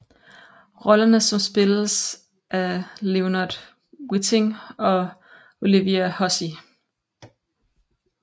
Rollerne som spilles af Leonard Whiting og Olivia Hussey